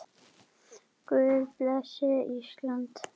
Guð blessi Ísland.